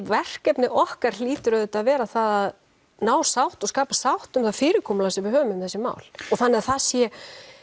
verkefni okkar hljóti auðvitað að vera það að ná sátt og skapa sátt um það fyrirkomulag sem við höfum um þessi mál og þannig það sé